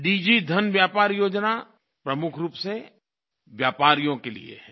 दिगी धन व्यापार योजना प्रमुख रूप से व्यापारियों के लिये है